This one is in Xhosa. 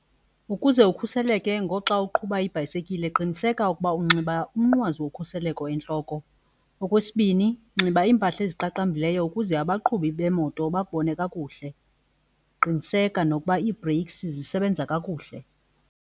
Ukuze ukhuseleke ngoxa uqhuba ibhayisekile qiniseka ukuba unxiba umnqwazi wokhuseleko entloko. Okwesibini nxiba iimpahla eziqaqambileyo ukuze abaqhubi beemoto bakubone kakuhle. Qiniseka nokuba ii-brakes zisebenza kakuhle.